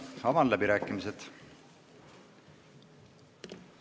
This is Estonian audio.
Avan läbirääkimised.